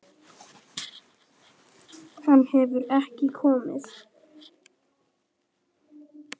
Hann hefur ekki komið.